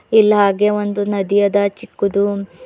ಇಲ್ಲ ಹಾಗೆ ಒಂದು ನದಿ ಅದ ಒಂದು ಚಿಕ್ಕದು.